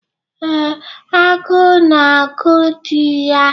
Ee, agụụ na-agụ di ya.